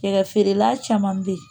Yɛrɛ feerela caman bɛ yen